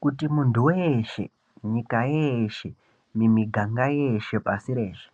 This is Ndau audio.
Kuti muntu weshe, nyika yeshe nemiganga yeshe pashireshe,